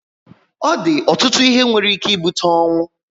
Ọ di ọtụtụ ihe nwere ike ibute ọnwụ